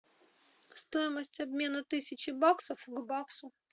стоимость обмена тысячи баксов к баксу